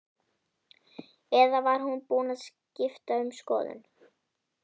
Eða var hún búin að skipta um skoðun?